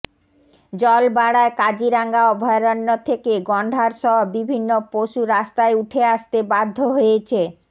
জল বাড়ায় কাজিরাঙা অভয়ারণ্য থেকে গণ্ডার সহ বিভিন্ন পশু রাস্তায় উঠে আসতে বাধ্য হয়েছে